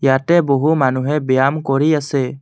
য়াতে বহু মানুহে ব্যায়াম কৰি আছে।